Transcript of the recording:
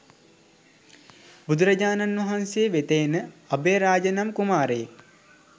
බුදුරජාණන් වහන්සේ වෙත එන අභයරාජ නම් කුමාරයෙක්